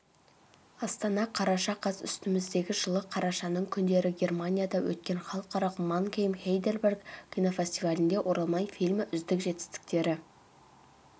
астана қараша қаз үстіміздегі жылы қарашаның күндері германияда өткен халықаралық мангейм-хайдельберг кинофестивалінде оралман фильмі үздік жетістіктері